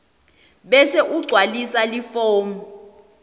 bese ugcwalisa lifomu